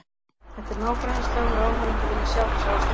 Þetta er nágrannaslagur og áhorfendur vilja sjá þessa ástríðu.